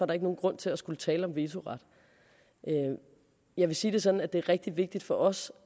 der ikke nogen grund til at skulle tale om vetoret jeg vil sige det sådan at det er rigtig vigtigt for os